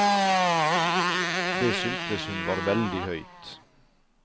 Det syntes hun var veldig høyt.